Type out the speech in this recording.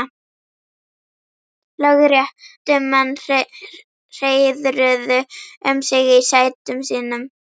Lögréttumenn hreiðruðu um sig í sætum sínum.